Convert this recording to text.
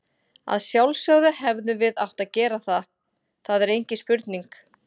Að sjálfsögðu hefðum við átt að gera það, það er engin spurning.